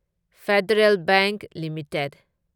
federal bank limited